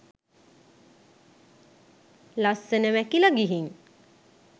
ලස්සන මැකිල ගිහින්.